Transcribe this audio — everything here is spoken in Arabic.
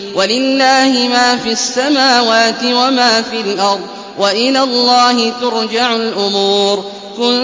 وَلِلَّهِ مَا فِي السَّمَاوَاتِ وَمَا فِي الْأَرْضِ ۚ وَإِلَى اللَّهِ تُرْجَعُ الْأُمُورُ